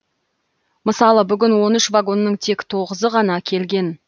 мысалы бүгін он үш вагонның тек тоғызы ғана келген